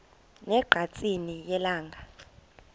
ne ngqatsini yelanga